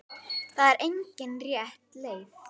Það er engin rétt leið.